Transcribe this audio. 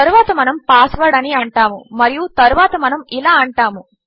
తరువాత మనము పాస్వర్డ్ అని అంటాము మరియు తరువాత మనము ఇలా అంటాము